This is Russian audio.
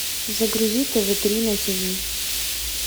загрузи тв три на тиви